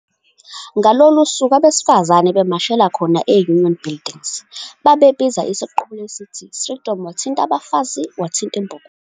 Ngalolulu suku abesifazane bemashela khona e"Union Buildings" babebiza isiqubulo esithi "'Strijdom, wathint' abafazi wathint' imbokodo".